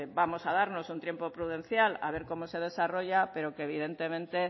vamos a darnos un tiempo prudencial a ver cómo se desarrolla pero que evidentemente